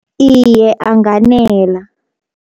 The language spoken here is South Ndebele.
Iye anganela.